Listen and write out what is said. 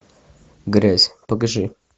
грязь покажи